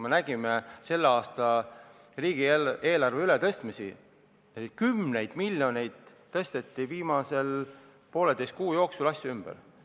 Me nägime selle aasta riigieelarves ümbertõstmisi, kümneid miljoneid tõsteti viimase poolteise kuu jooksul ümber.